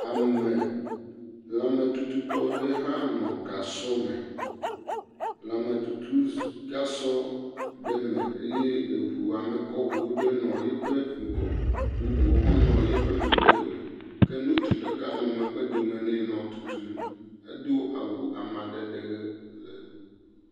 Ame lãmetututɔ 'ɖe hã nɔ gasɔ me, lãmetutuzugasɔ ɖe me ye eʋu amekɔʋu aɖe nɔ yiƒe ŋgɔ bubuwo hã nɔ yeƒe megbedome ke ŋutsu ɖeka nɔ megbedome nɛ nɔ etutum, edo awu amadede ɣe.